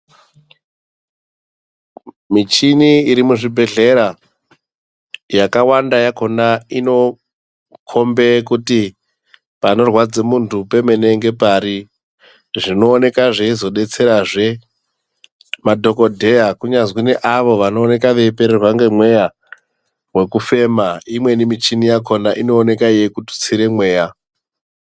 Michini irimuzvibhehlera yakawanda yakona inokombe kuti panorwadze muntu pemene ngepari. Zvinooneka zveizodetserazve madhogodheya, kunyazwi neavo vanooneka veipererwa nemweya wekufema, imweni michini yakona inooneka yeikututsire mweya.